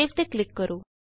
save ਤੇ click ਕਰੋ